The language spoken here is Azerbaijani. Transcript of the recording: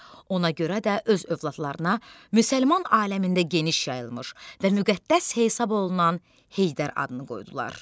Ona görə də öz övladlarına müsəlman aləmində geniş yayılmış və müqəddəs hesab olunan Heydər adını qoydular.